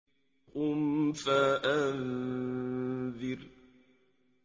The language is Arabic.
قُمْ فَأَنذِرْ